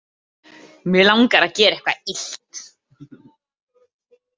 Mig langar að gera eitthvað illt.